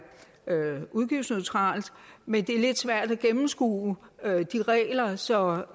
udgiftsneutralt men det er lidt svært at gennemskue de regler så